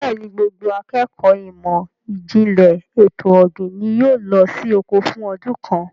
Bẹ́ẹ̀ni, gbogbo akékọ̀ọ́ ìmọ̀ ìjìnlẹ̀ ètò ọ̀gbìn ni yóò lọ sí oko fún ọdún kan.